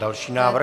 Další návrh.